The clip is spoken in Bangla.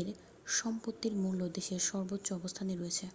এর সম্পত্তির মূল্য দেশের সর্বোচ্চ অবস্থানে রয়েছে